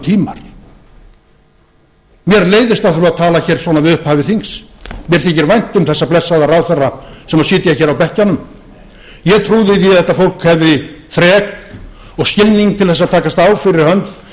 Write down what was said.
alvörutímar mér leiðist að þurfa að tala svona við upphaf þings mér þykir vænt um þessa blessaða ráðherra sem sitja hér á bekkjunum ég trúði því að þetta fólk hefði þrek og skilning til þess að taka á fyrir hönd